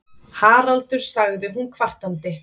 Haraldur, sagði hún kvartandi.